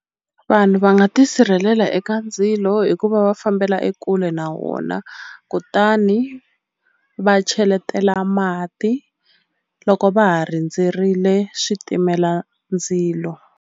Vanhu va nga tisirhelela eka ndzilo hikuva va fambela ekule na wona kutani va cheletela mati loko va ha rindzerile switimela ndzilo.